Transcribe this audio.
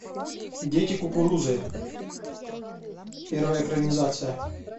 дети кукурузы первая экранизация